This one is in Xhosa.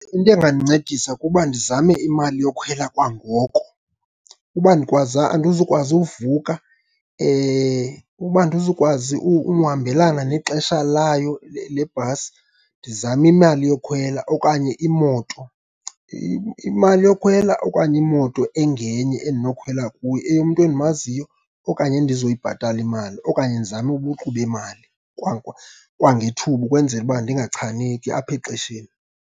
Into engandincedisa kuba ndizame imali yokhwela kwangoko. Uba andizukwazi uvuka, uba andizukwazi uhambelana nexesha layo le, le bhasi ndizame imali yokhwela okanye imoto, imali yokhwela okanye imoto engenye endinokhwela kuyo eyomntu endimaziyo okanye endizoyibhatala imali. Okanye ndizame ubuqu bemali kwangethuba ukwenzela uba ndingachaneki apha exesheni.